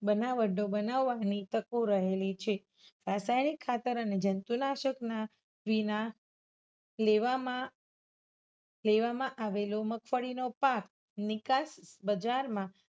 બનાવટો બનાવવાની તકો રહેલી છે. રસાયણીક ખતર અને જંતુનાશકના વિના લેવામાં આવેલો મગફળીનો પાક નિકાસ બજારમાં